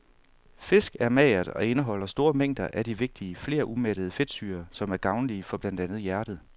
Fisk er magert og indeholder store mængder af de vigtige flerumættede fedtsyrer, som er gavnlige for blandt andet hjertet.